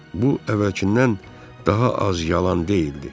Bu əvvəlkindən daha az yalan deyildi.